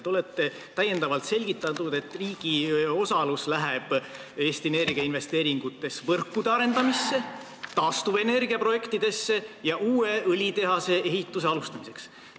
Te olete täiendavalt selgitanud, et riigi osalus Eesti Energia investeeringutes läheb võrkude arendamiseks, taastuvenergia projektideks ja uue õlitehase ehituse alustamiseks.